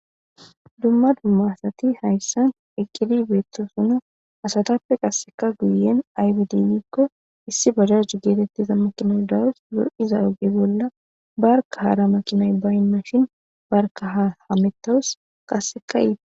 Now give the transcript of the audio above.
DUmmza dumma asati haysan eqqidi dee7etes izetape guye baggara qasseka bajajey de7ees qasseka barka hara makinay bayndashi n barkka hammetawus.